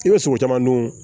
I bɛ sogo caman dun